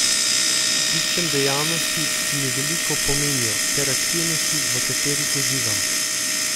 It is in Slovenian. Iščem dejavnosti, ki mi veliko pomenijo, ter aktivnosti, v katerih uživam.